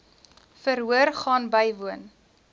verhoor gaan bywoon